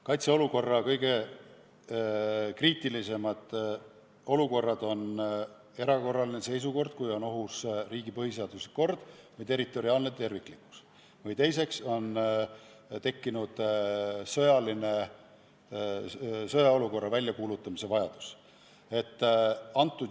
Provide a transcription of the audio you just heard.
Kaitseolukorra kõige kriitilisemad olukorrad on esiteks erakorraline seisukord, kui on ohus riigi põhiseaduslik kord või territoriaalne terviklikkus, ja teiseks, kui on tekkinud sõjaolukorra väljakuulutamise vajadus.